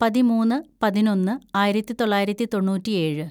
പതിമൂന്ന് പതിനൊന്ന് ആയിരത്തിതൊള്ളായിരത്തി തൊണ്ണൂറ്റിയേഴ്‌